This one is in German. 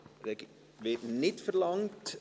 – Das Wort wird nicht verlangt.